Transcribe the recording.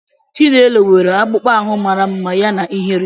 Chinelo nwere akpụkpọ ahụ mara mma yana ihere.